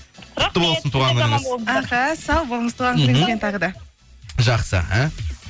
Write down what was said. құтты болсын туған күніңіз аха сау болыңыз туған күніңізбен тағы да мхм жақсы іхі